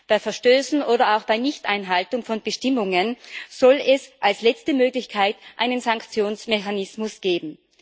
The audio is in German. Bei Verstößen oder auch bei Nichteinhaltung von Bestimmungen soll es als letzte Möglichkeit einen Sanktionsmechanismus geben.